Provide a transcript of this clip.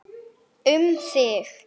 Hann þóttist ansi góður.